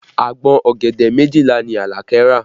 Agbọ̀n ọ̀gẹ̀dẹ̀ méjìlá ni Alake rà